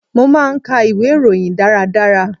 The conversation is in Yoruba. Mo máa ń ka ìwé ìròyìn dára dára.